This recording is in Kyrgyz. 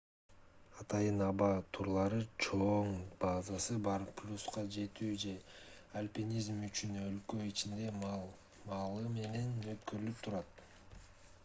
атайын аба турлары чоң базасы бар полюска жетүү же альпинизм үчүн өлкө ичинде маал-маалы менен өткөрүлүп турат